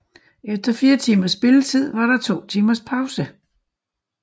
Efter fire timers spilletid var der to timers pause